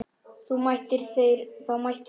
Þá mættu þeir koma.